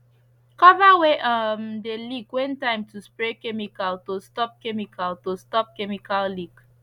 cover wey um de leak when time to spray chemical to stop chemical to stop chemical leak